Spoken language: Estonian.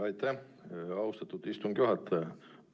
Aitäh, austatud istungi juhataja!